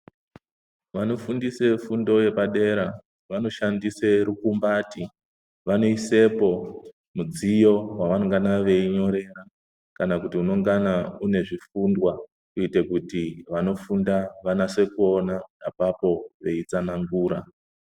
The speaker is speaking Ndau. Vanofundise fundo yepadera, vanoshandise rukumbati. Vanoyisepo midziyo yavanengana veyinyore kana kuti unengana unezvikundwa kuite kuti vanofunda vanase kuwona apapo veyitsanangura.